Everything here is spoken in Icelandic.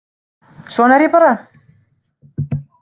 Svona er ég bara